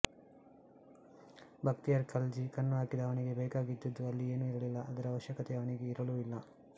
ಭಕ್ತಿಯಾರ್ ಖಲ್ಜಿ ಕಣ್ಣು ಹಾಕಿದ ಅವನಿಗೆ ಬೇಕಾಗಿದ್ದದ್ದು ಅಲ್ಲಿ ಏನು ಇರಲಿಲ್ಲ ಅದರ ಅವಶ್ಯಕತೆ ಅವನಿಗೆ ಇರಲೂ ಇಲ್ಲ